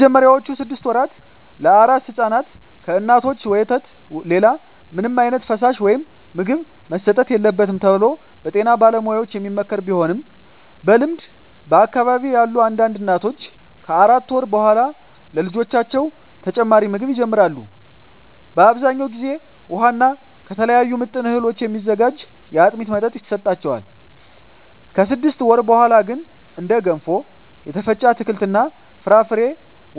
በመጀመሪያዎቹ ስድስት ወራ ለአራስ ሕፃናት ከእናቶች ወተት ሌላ ምንም ዓይነት ፈሳሽ ወይም ምግብ መሰጠት የለበትም ተብሎ በጤና ባለሙያዎች የሚመከር ቢሆንም በልምድ በአካባቢየ ያሉ አንዳንድ እናቶች ከአራት ወር በኃላ ለልጆቻቸው ተጨማሪ ምግብ ይጀምራሉ። በአብዛኛው ጊዜ ውሃ እና ከተለያዩ ምጥን እህሎች የሚዘጋጅ የአጥሚት መጠጥ ይሰጣቸዋል። ከስድስት ወር በኀላ ግን እንደ ገንፎ፣ የተፈጨ አትክልት እና ፍራፍሬ፣